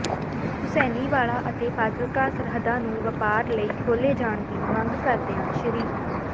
ਹੁਸੈਨੀਵਾਲਾ ਅਤੇ ਫਾਜਿਲਕਾ ਸਰਹੱਦਾਂ ਨੂੰ ਵਪਾਰ ਲਈ ਖੋਲ੍ਹੇ ਜਾਣ ਦੀ ਮੰਗ ਕਰਦਿਆਂ ਸ